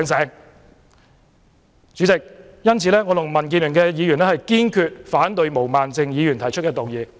因此，代理主席，我及民建聯的議員堅決反對毛孟靜議員動議的議案。